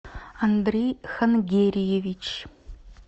андрей хангериевич